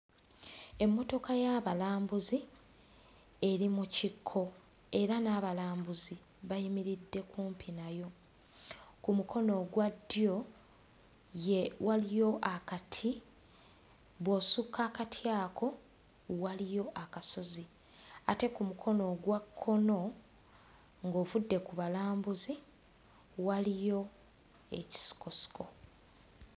Emmotoka y'abalambuzi eri mu kikko era n'abalambuzi bayimiridde kumpi nayo. Ku mukono ogwa ddyo waliyo akati. Bw'osukka akati ako waliyo akasozi. Ate ku mukono ogwa kkono ng'ovudde ku balambuzi waliyo ekisikosiko.